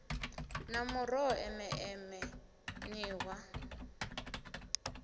na muroho eme eme nṱhwa